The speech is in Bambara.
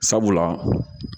Sabula